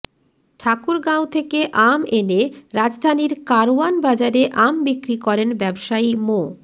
ঠাকুরগাঁও থেকে আম এনে রাজধানীর কারওয়ানবাজারে আম বিক্রি করেন ব্যবাসায়ী মো